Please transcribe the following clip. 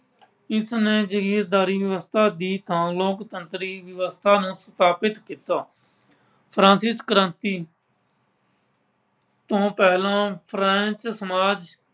ਇਸ ਨੇ ਜਗੀਰਦਾਰੀ ਵਿਵਸਥਾ ਦੀ ਥਾਂ ਲੋੋਕਤੰਤਰੀ ਵਿਵਸਥਾ ਨੂੰ ਸਥਾਪਿਤ ਕੀਤਾ। Francis ਕ੍ਰਾਂਤੀ ਤੋਂ ਪਹਿਲਾਂ ਫ਼ਰਾਂਸ ਸਮਾਜ